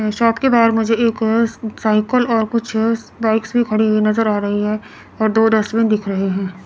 Shop के बाहर मुझे एक साइकल और कुछ बाइक्स भी खड़ी नजर आ रही है और दो डस्टबिन दिख रहे है।